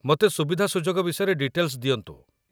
ମୋତେ ସୁବିଧାସୁଯୋଗ ବିଷୟରେ ଡିଟେଲ୍‌ସ ଦିଅନ୍ତୁ